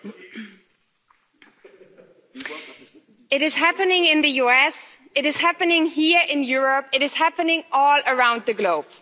Mr President, it is happening in the US, it is happening here in Europe, it is happening all around the globe.